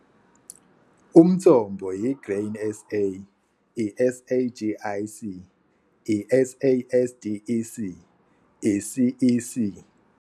Umthombo- I-Grain SA, i-SAGIC, i-SASDEC, i-CEC